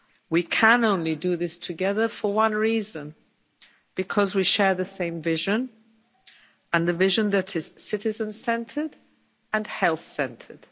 We can only do this together for one reason because we share the same vision, a vision that is citizen centred and health-centred.